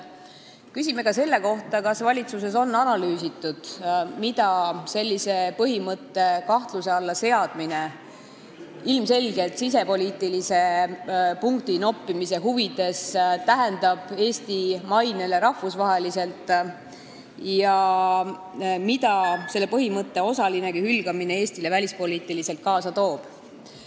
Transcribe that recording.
Küsime ka selle kohta, kas valitsuses on analüüsitud, mida sellise põhimõtte kahtluse alla seadmine ilmselgelt sisepoliitilise punktinoppimise huvides tähendab Eesti rahvusvahelisele mainele ja mida selle põhimõtte osalinegi hülgamine Eestile välispoliitiliselt kaasa toob.